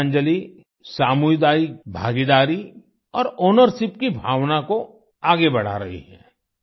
विद्यांजलि सामुदायिक भागीदारी और आउनरशिप की भावना को आगे बढ़ा रही है